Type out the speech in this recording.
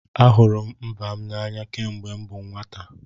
Ahụrụ m mba m n'anya kemgbe m bụ nwata.